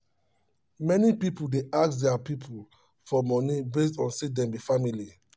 many people dey ask their people for money based on say dem be family